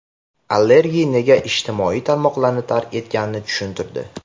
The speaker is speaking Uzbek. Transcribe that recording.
Allegri nega ijtimoiy tarmoqlarni tark etganini tushuntirdi.